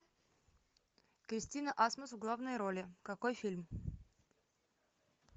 кристина асмус в главной роли какой фильм